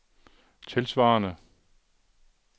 tilsvarende